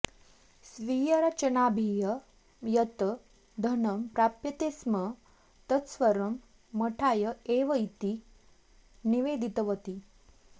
स्वीयरचनाभिः यत् धनं प्राप्यते स्म तत्सर्वं मठाय एव इति निवेदितवती